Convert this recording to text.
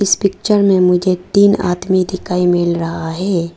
इस पिक्चर में मुझे तीन आदमी दिखाई मिल रहा है।